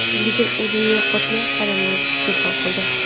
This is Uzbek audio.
Lekin o‘zimni yo‘qotmay, xolamga telefon qildim.